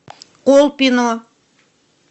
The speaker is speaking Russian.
колпино